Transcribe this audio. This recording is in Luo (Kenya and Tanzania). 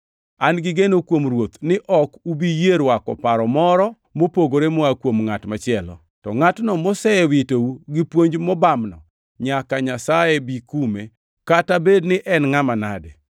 An gi geno kuom Ruoth ni ok ubi yie rwako paro moro mopogore moa kuom ngʼat machielo. To ngʼatno mosewitou gi puonj mobamno nyaka Nyasaye bi kume, kata bed ni en ngʼama nade.